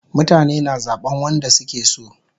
Mutane na zaban wanda suke so